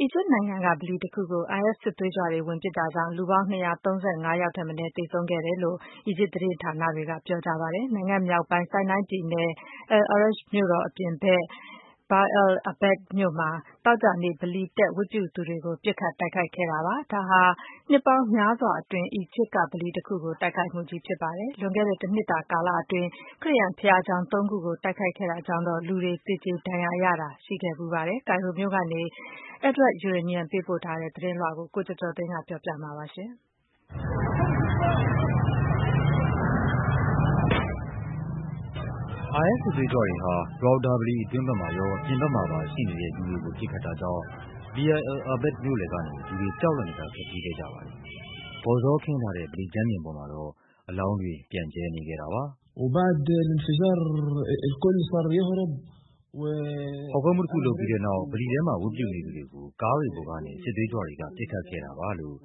အီဂျစ်နိုင်ငံက ဗလီတခုကို IS စစ်သွေးကြွတွေဝင်ပစ်တာကြောင့် လူပေါင်း ၂၃၅ ယောက်ထက်မနည်း သေဆုံးခဲ့ တယ်လို့ အီဂျစ်သတင်းဌာနတွေက ပြောကြပါတယ်။ နိုင်ငံမြောက်ပိုင်း ဆိုင်းနိုင်းပြည်နယ်၊ al Arish မြို့တော်အပြင်ဘက်က Bir al Abed မြို့မှာ သောကြာနေ့ ဗလီတက် ဝတ်ပြုနေသူတွေကို ပစ်ခတ် တိုက်ခိုက်ခဲ့တာပါ။ ဒါဟာဖြင့် နှစ်ပေါင်းများစွာအတွင်း အီဂျစ်က ဗလီတခုကို တိုက်ခိုက်မှုကြီးဖြစ်ပါတယ်။ လွန်ခဲ့တဲ့ တနှစ်တာကာလအတွင်း ခရစ်ယာန်ဘုရားကျောင်း သုံးခုကို တိုက်ခိုက်ခဲ့တာကြောင့်တော့ လူတွေ သေကျေဒဏ်ရာရတာ ရှိခဲ့ဖူးပါတယ်။ ကိုင်ရိုမြို့တော်ကနေ Edward Yeranian ပေးပို့ထား တဲ့သတင်းလွှာကို ကိုကျော်ကျော်သိန်းက ပြောပြပါမယ်။ IS စစ်သွေးကြွတွေဟာ Rawda ဗလီအတွင်းဘက်မှာရော အပြင်ဘက်မှာပါရှိနေတဲ့ လူတွေကို ပစ်ခတ်တာကြောင့် Bir al Abed မြို့လည်ကနေ လူတွေ ကြောက်လန့်တကြား ထွက်ပြေးခဲ့ကြပါတယ်။ ကော်ဇောခင်းထားတဲ့ ဗလီကြမ်းပြင်ပေါ်မှာတော့ အလောင်းတွေ ပြန့်ကျဲနေခဲ့တာပါ။ “ဖောက်ခွဲမှုတခုလုပ်ပြီးတဲ့နောက် ဗလီထဲမှာ ဝတ်ပြုနေသူတွေကို ကားတွေပေါ်ကနေ စစ်သွေးကြွတွေက ပစ်ခတ်ခဲ့တာပါ” လို့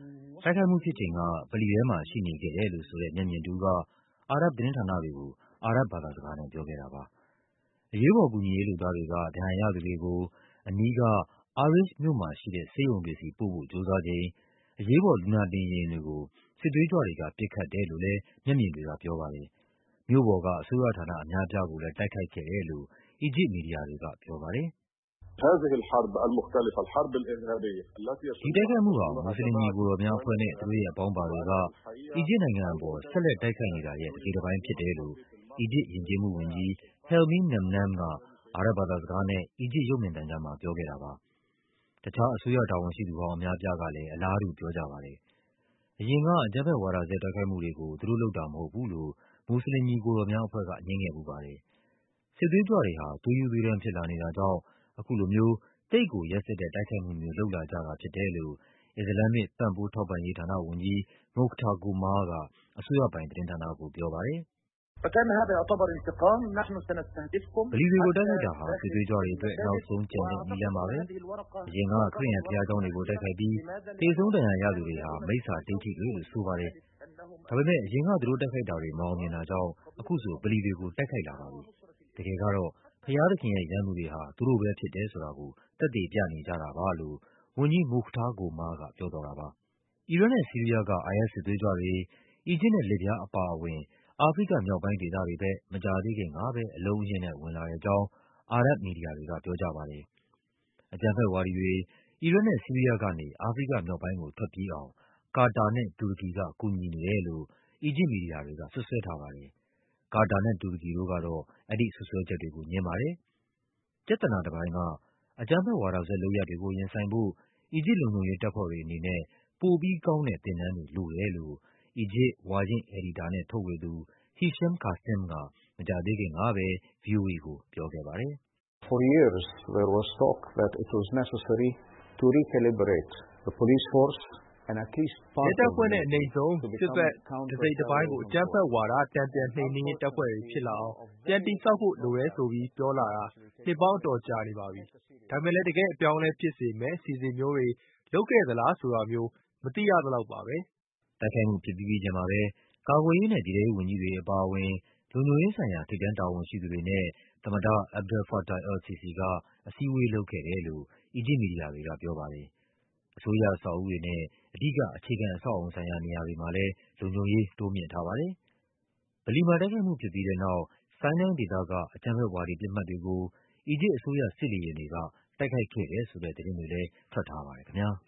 တိုက်ခိုက်မှုဖြစ်ချိန်က ဗလီထဲမှာရှိနေခဲ့တယ်လို့ဆိုတဲ့ မျက်မြင်တဦးက အာရပ်ဘ်သတင်းဌာနတွေကို အာရပ်ဘ်ဘာသာစကားနဲ့ ပြောခဲ့တာပါ။ အရေးပေါ်ကူညီရေးလုပ်သားတွေက ဒဏ်ရာရသူတွေကို အနီးက Arish မြို့မှာရှိတဲ့ ဆေးရုံတွေဆီပို့ဖို့ ကြိုးစားချိန် အရေးပေါ် လူနာတင်ယာဉ်တွေကို စစ်သွေးကြွတွေကပစ်ခတ်တယ်လို့လဲ မျက်မြင်တွေကပြောပါတယ်။ မြို့ပေါ်က အစိုးရဌာနအများအပြား ကိုလဲ တိုက်ခိုက်ခဲ့တယ်လို့ အီဂျစ်မီဒီယာတွေကပြောပါတယ်။ “ဒီတိုက်ခိုက်မှုဟာ မူစလင်ညီအကိုတော်များအဖွဲ့နဲ့ သူတို့ရဲ့အပေါင်းပါတွေက အီဂျစ်နိုင်ငံအပေါ် ဆက်လိုက်တိုက်ခိုက်နေတာရဲ့ တစိတ်တပိုင်းဖြစ်တယ်” လို့ အီဂျစ်ယဉ်ကျေးမှုဝန်ကြီး Helmy Namnam က အာရပ်ဘ်ဘာသာစကားနဲ့ အီဂျစ်ရုပ်မြင်သံကြားမှာ ပြောခဲ့တာပါ။ တခြား အစိုးရတာဝန်ရှိသူဟောင်း အများအပြားကလဲ အလားတူပြောကြပါတယ်။ အရင်က အကြမ်းဖက်ဝါဒစွဲ တိုက်ခိုက်မှုတွေကို သူတို့လုပ်တာမဟုတ်ဘူးလို့ မူစလင် ညီအကိုတော်များအဖွဲ့က ငြင်းခဲ့ဖူးပါတယ်။ စစ်သွေးကြွတွေဟာ သွေးရူးသွေးတန်းဖြစ်လာနေတာကြောင့် အခုလိုမျိုး သိပ်ကို ရက်စက်တဲ့ တိုက်ခိုက်မှုမျိုး လုပ်လာကြတာ ဖြစ်တယ်လို့ အစ္စလာမ်မစ် ပံ့ပိုးထောက်ပံ့ရေး ဌာန ဝန်ကြီး Mukhtar Goma’a က အစိုးရပိုင်သတင်းဌာနကို ပြောပါတယ်။ “ဗလီတွေကို တိုက်ခိုက်တာဟာ စစ်သွေးကြွတွေအတွက် နောက်ဆုံးကျန်တဲ့ နည်းလမ်းပါပဲ။ အရင်က ခရစ်ယာန်ဘုရားကျောင်း တွေကို တိုက်ခိုက်ပြီး သေဆုံး ဒဏ်ရာရသူတွေဟာ မိစ္ဆာဒိဋ္ဌိတွေလို့ဆိုတယ်။ ဒါပေမဲ့ အရင်က သူတို့တိုက်ခိုက်တာတွေ မအောင် မြင်တာကြောင့် အခုဆို ဗလီတွေကို တိုက်ခိုက်လာပြီ။ တကယ်ကတော့ ဘုရားသခင်ရဲ့ ရန်သူတွေဟာ သူတို့ပဲဖြစ်တယ်ဆိုတာ ကို သက်သေပြနေကြတာပါ။” လို့ ဝန်ကြီး Mukhtar Goma’a က ပြောသွားတာပါ။ အီရတ်နဲ့ဆီးရီးယားက IS စစ်သွေးကြွတွေ အီဂျစ်နဲ့လစ်ဗျားအပါအဝင် အာဖရိကမြောက်ပိုင်းဒေသတွေဘက် မကြာသေးခင်ကပဲ အလုံးအရင်းနဲ့ ဝင်လာတဲ့အကြောင်း အာရပ်ဘ်မီဒီယာတွေက ပြောကြပါတယ်။ အကြမ်းဖက်ဝါဒီတွေ အီရတ်နဲ့ဆီးရီးယားကနေ အာဖရိကမြောက်ပိုင်းကို ထွက်ပြေးအောင် ကာတာနဲ့ တူရကီက ကူညီနေတယ်လို့ အီဂျစ်မီဒီယာတွေက စွပ်စွဲထားပါတယ်။ ကာတာနဲ့ တူရကီတို့ကတော့ အဲဒီစွပ်စွဲချက်တွေကို ငြင်းပါတယ်။ ပြဿနာတပိုင်းက အကြမ်းဖက်ဝါဒစွဲလုပ်ရပ်တွေကို ရင်ဆိုင်ဖို့ အီဂျစ်လုံခြုံရေးတပ်ဖွဲ့တွေအနေနဲ့ ပိုပြီးကောင်းတဲ့သင်တန်းတွေ လိုတယ်လို့ အီဂျစ် ဝါရင့်အယ်ဒီတာနဲ့ထုတ်ဝေသူ Hisham Kassem က မကြာသေးခင်ကပဲ ဗွီအိုအေကိုပြောခဲ့ပါတယ်။ “ရဲတပ်ဖွဲ့နဲ့ အနိမ့်ဆုံး စစ်ဘက်တစိတ်တပိုင်းကို အကြမ်းဖက်ဝါဒ တန်ပြန်နှိမ်နင်းရေး တပ်ဖွဲ့တွေဖြစ်လာအောင် ပြန်တည်ဆောက်ဖို့ လိုတယ်ဆိုပြီး ပြောဆိုလာတာ နှစ်ပေါင်းအတော်ကြာနေပါပြီ။ ဒါပေမဲ့လဲ တကယ့်အပြောင်းအလဲ ဖြစ်စေမယ့် အစီအစဉ်မျိုးတွေ လုပ်ခဲ့တယ်ဆိုတာမျိုး မသိရသလောက်ပါပဲ။” တိုက်ခိုက်မှုဖြစ်ပြီးပြီးချင်းမှာပဲ ကာကွယ်ရေးနဲ့ ပြည်ထဲရေးဝန်ကြီးတွေအပါအဝင် လုံခြုံရေးဆိုင်ရာ ထိပ်တန်းတာဝန်ရှိသူတွေနဲ့ သမ္မတ Abdel Fattah el Sisi က အစည်းအဝေးလုပ်ခဲ့တယ်လို့ အီဂျစ်မီဒီယာတွေကပြောပါတယ်။ အစိုးရအဆောက်အဦးတွေနဲ့ အဓိက အခြေခံအဆောက်အအုံနေရာတွေမှာလဲ လုံခြုံရေး တိုးမြှင့်ထားပါတယ်။ ဗလီမှာ တိုက်ခိုက်မှုဖြစ်ပြီးတဲ့နောက် ဆိုင်းနိုင်း ဒေသက အကြမ်းဖက်ဝါဒီပစ်မှတ်တွေကို အီဂျစ်အစိုးရ စစ်လေယာဉ်တွေက တိုက်ခိုက်ခဲ့တယ်ဆိုတဲ့သတင်းတွေလဲ ထွက်ထားပါ တယ်ခင်ဗျား။